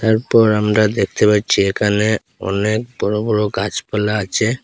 এরপর আমরা দেখতে পাচ্ছি এখানে অনেক বড় বড় গাছপালা আছে।